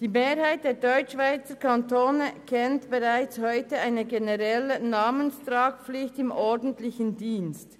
Die Mehrheit der Deutschschweizer Kantone kennt bereits heute eine generelle Namenstragpflicht im ordentlichen Dienst.